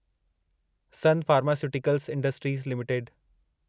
sun pharmaceuticals industries limited